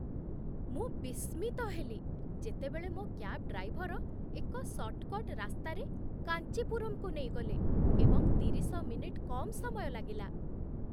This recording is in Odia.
ମୁଁ ବିସ୍ମିତ ହେଲି, ଯେତେବେଳେ ମୋ କ୍ୟାବ୍ ଡ୍ରାଇଭର ଏକ ସର୍ଟ କଟ୍ ରାସ୍ତାରେ କାଞ୍ଚିପୁରମ୍‌ରୁ ନେଇଗଲେ ଏବଂ ତିରିଶ ମିନିଟ୍ କମ୍ ସମୟ ଲାଗିଲା!